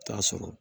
T'a sɔrɔ